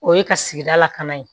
O ye ka sigida lakana ye